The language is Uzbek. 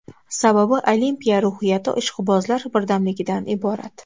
Sababi Olimpiya ruhiyati ishqibozlar birdamligidan iborat.